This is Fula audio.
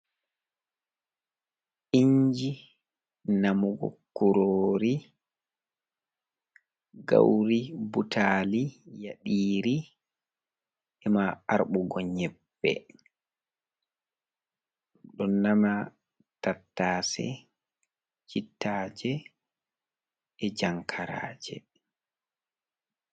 Inji, Namugo Kurori, Gauri, Ɓutali, Yaɗiri, Ema Arbmɓugo Nyeɓɓe. Ɗo Nama Tattase Cittaje E'Jankaraje.